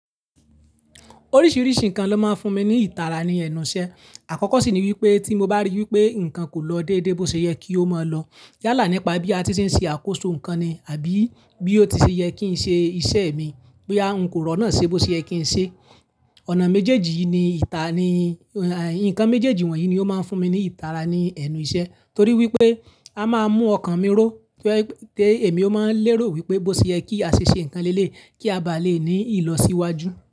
Oríṣiiríṣii nǹkan ló máa ń fún mi ní ìtara ní ẹnù iṣẹ́. Àkọ́kọ́ sì ni wípé tí mo bá rí i wípé nǹkan kò lọ déédéé bó ṣe yẹ kí ó máa lọ yálà nípa bí a ti ṣe ń ṣe àkóso nǹkan ni àbí bí ó ti ṣe yẹ kí n ṣe iṣẹ́ mi. Boya ǹ kò rọnà ṣe bó ṣeyẹ kí n ṣe. Ọ̀nà méjèèjì yii ni ìta ni, nǹkan méjèèjì wọ̀nyí ni ó máa ń fún mi ní ìtara ní ẹnu iṣẹ́ torí wípé a máa ń mú ọkàn mi ró tó èmi ó máa ń lérò wípé bó ṣe yẹ kí a ṣe ṣe nǹkan léle kí a bá lè ní ìlọsíwájú.